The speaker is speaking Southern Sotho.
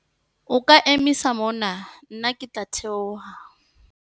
O ka emisa mona nna ke tla theoha.